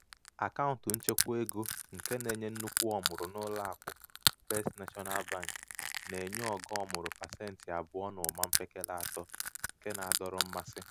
akaụntụ nchekwaego um nke na-enye nnukwu ọmụrụ n'ụlọakụ first national bank na-enye ogo ọmụrụ pasentị abụọ na ụma mpekele atọ nke na-adọrọ mmasị.